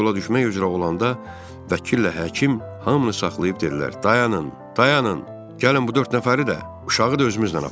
Camaat yola düşmək üzrə olanda vəkillə həkim hamını saxlayıb dedilər: Dayanın, dayanın, gəlin bu dörd nəfəri də, uşağı da özümüzlə aparaq.